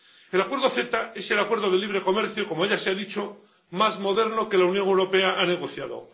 El acuerdo CETA es el acuerdo de libre comercio, como ya se ha dicho, más moderno que la Unión Europea ha negociado.